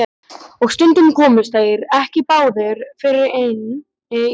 Og stundum komust þeir ekki báðir fyrir inni í bænum.